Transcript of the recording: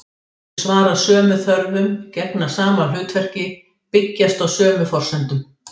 Þau svara sömu þörfum, gegna sama hlutverki, byggjast á sömu forsendum.